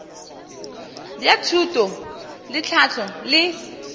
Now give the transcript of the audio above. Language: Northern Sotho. bja thuto le tlhahlo le